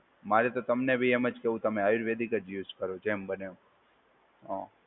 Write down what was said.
માર તો તમને બી એમ જ કેવું, તમે આયુર્વેદિક યુઝ કરો જેમ બને એમ. હા.